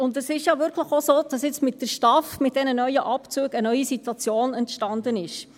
Und es ist ja wirklich auch so, dass mit der STAF, mit diesen neuen Abzügen, eine neue Situation entstanden ist.